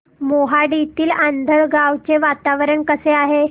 मोहाडीतील आंधळगाव चे वातावरण कसे आहे